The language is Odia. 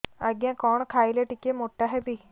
ଆଜ୍ଞା କଣ୍ ଖାଇଲେ ଟିକିଏ ମୋଟା ହେବି